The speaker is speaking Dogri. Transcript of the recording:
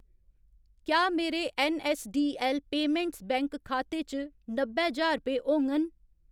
क्या मेरे ऐन्नऐस्सडीऐल्ल पेमैंट्स बैंक खाते च नब्बै ज्हार रपेऽ होङन ?